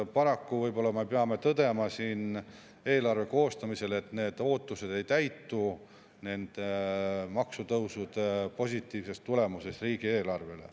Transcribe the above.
Paraku võib-olla me peame tõdema siin eelarve koostamisel, et need ootused ei täitu maksutõusude positiivse tulemusena riigieelarvele.